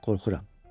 Qorxuram.